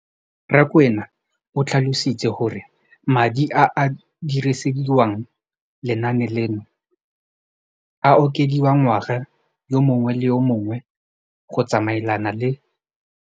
Rakwena o tlhalositse gore madi a a dirisediwang lenaane leno a okediwa ngwaga yo mongwe le yo mongwe go tsamaelana le.